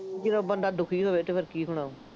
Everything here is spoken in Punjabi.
ਜਦੋਂ ਬੰਦਾ ਦੁਖੀ ਹੋਵੇ ਅਤੇ ਫੇਰ ਕੀ ਹੋਣਾ